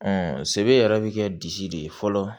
sebe yɛrɛ bi kɛ disi de ye fɔlɔ